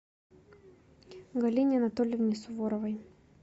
галине анатольевне суворовой